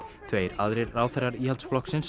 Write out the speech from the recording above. tveir aðrir ráðherrar Íhaldsflokksins